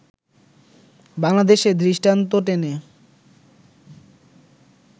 বাংলাদেশের দৃষ্টান্ত টেনে